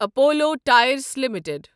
Apollo tyres limited